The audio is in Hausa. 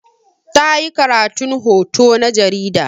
Ta yi karatun hoto na jarida.